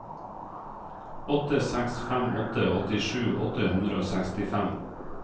åtte seks fem åtte åttisju åtte hundre og sekstifem